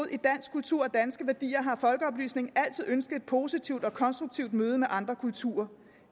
kultur og danske værdier har folkeoplysningen altid ønsket et positivt og konstruktivt møde med andre kulturer